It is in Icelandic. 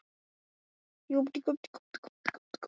Hvers vegna hann hefði boðað komu sína upp úr þurru.